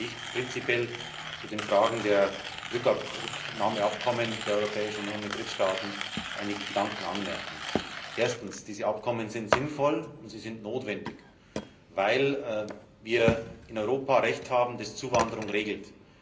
Deswegen möchte ich prinzipiell zu den Fragen der Rückübernahmeabkommen der Europäischen Union mit Drittstaaten einige Gedanken anmerken. Erstens Diese Abkommen sind sinnvoll und sie sind notwendig, weil wir in Europa Recht haben, das Zuwanderung regelt.